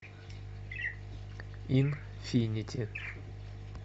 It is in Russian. инфинити